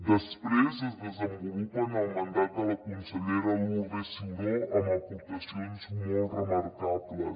després es desenvolupa en el mandat de la consellera lourdes ciuró amb aportacions molt remarcables